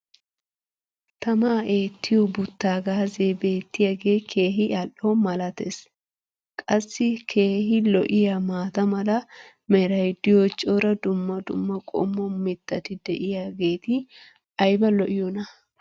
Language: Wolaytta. tamaa eettiyo butaagaazzee beettiyaage keehi al'o malatees. qassi keehi lo'iyaa maata mala meray diyo cora dumma dumma qommo mittati diyaageti ayba lo'iyoonaa?